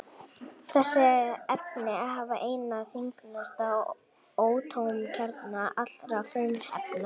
Þessi efni hafa einna þyngsta atómkjarna allra frumefna.